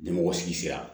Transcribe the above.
Ɲɛmɔgɔ sigi sera